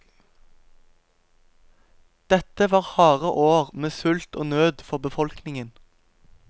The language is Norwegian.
Dette var harde år med sult og nød for befolkningen.